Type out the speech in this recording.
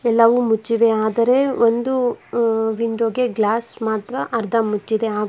ಎಲ್ಲವು ಮುಚ್ಚಿವೆ ಆದರೆ ಒಂದು ಅ ವಿಂಡೋ ಗೆ ಗ್ಲಾಸ್ ಮಾತ್ರ ಅರ್ಧ ಮುಚ್ಚಿದೆ ಹಾಗು--